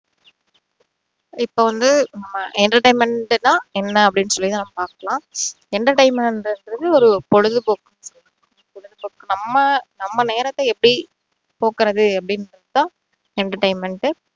இப்போ வந்து நம்ம entertainment ண்டு சொன்னா என்ன அப்படிண்ணு சொல்லி நம்ம பார்க்கலாம் entertainment ங்கிறது ஒரு பொழுதுபோக்கு நம்ம நம்ம நேரத்தை எப்படி போக்குறது அப்படின்றது தான் entertainment டு